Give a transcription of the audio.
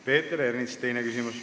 Peeter Ernits, teine küsimus.